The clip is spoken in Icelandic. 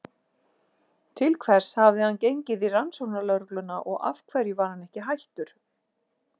Til hvers hafði hann gengið í Rannsóknarlögregluna og af hverju var hann ekki hættur?